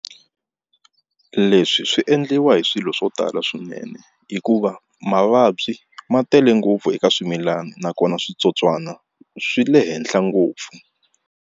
Leswi swi endliwa hi swilo swo tala swinene hikuva mavabyi ma tele ngopfu eka swimilana nakona switsotswana swi le henhla ngopfu.